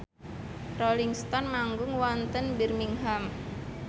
Rolling Stone manggung wonten Birmingham